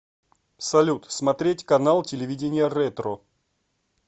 салют смотреть канал телевидения ретро